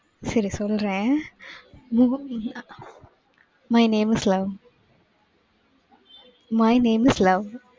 சரி, சொல்றேன். movie name My name is love My name is love